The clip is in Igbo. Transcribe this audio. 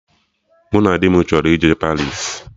Mụ na di m chọrọ ije Paris